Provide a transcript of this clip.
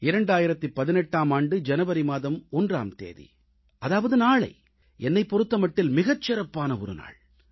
2018ஆம் ஆண்டு ஜனவரி மாதம் 1ஆம் தேதி அதாவது நாளை என்னைப் பொறுத்தமட்டில் மிகச் சிறப்பான ஒரு நாள்